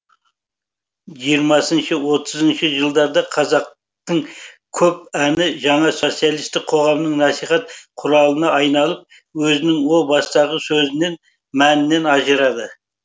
жиырмасыншы отызыншы жылдарда қазақтың көп әні жаңа социалистік қоғамның насихат құралына айналып өзінің о бастағы сөзінен мәнінен ажырады